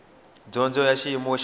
dyondzo ya xiyimo xa le